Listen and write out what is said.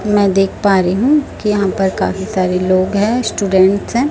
में देख पा रही हु की यहाँ पर काफी सारे लोग है स्टूडेंट्स है।